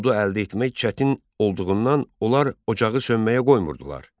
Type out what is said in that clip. Odu əldə etmək çətin olduğundan onlar ocağı sönməyə qoymurdular.